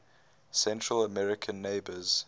central american neighbors